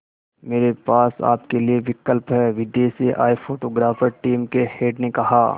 मेरे पास आपके लिए विकल्प है विदेश से आए फोटोग्राफर टीम के हेड ने कहा